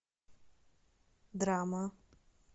драма